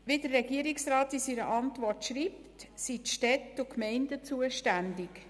Wie der Regierungsrat in seiner Antwort schreibt, sind die Städte und Gemeinden zuständig.